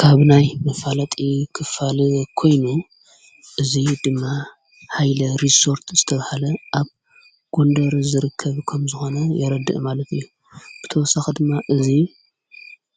ካብናይ ምፋለጢ ኽፋል ኮይኑ እዙይ ድማ ኃይለ ሪሶርት ዝተብሃለ ኣብ ጕንደር ዘርከብ ከም ዝኾነ የረድእ ማለት እዩ ብተወሳ ኽድማ እዙይ